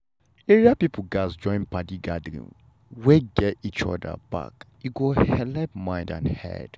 area people gatz join padi gathering wey get each other back e go helep mind and head.